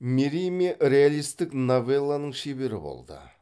мериме реалистік новелланың шебері болды